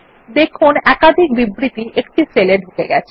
দেখুন একাধিক বিবৃতি একটি সেলে ঢুকে গেছে